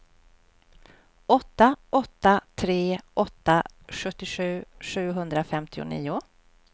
åtta åtta tre åtta sjuttiosju sjuhundrafemtionio